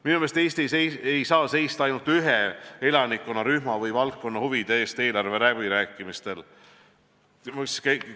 Minu meelest ei saa Eesti eelarveläbirääkimistel seista ainult ühe elanikkonnarühma või valdkonna huvide eest.